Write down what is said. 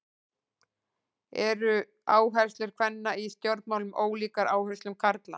Eru áherslur kvenna í stjórnmálum ólíkar áherslum karla?